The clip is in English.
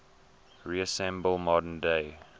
resemble modern day